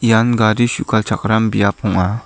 ian gari su·galchakram biap ong·a.